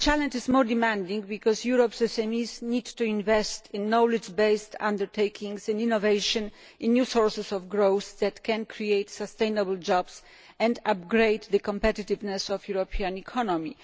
But the challenge is all the more demanding because Europe's SMEs need to invest in knowledge based undertakings, innovation and new sources of growth that can create sustainable jobs and upgrade the competitiveness of the European economy.